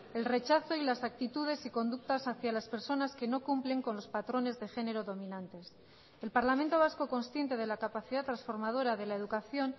el rechazo y las actitudes y conductas hacia las personas que no cumplen con los patrones de género dominantes el parlamento vasco consciente de la capacidad transformadora de la educación